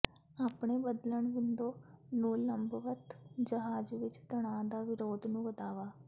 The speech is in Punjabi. ਆਪਣੇ ਬਦਲਣ ਵਿੰਡੋ ਨੂੰ ਲੰਬਵਤ ਜਹਾਜ਼ ਵਿਚ ਤਣਾਅ ਦਾ ਵਿਰੋਧ ਨੂੰ ਵਧਾਵਾ